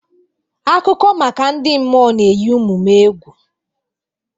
Akụkọ maka ndị mmụọ ga-eyi ụmụ m egwu.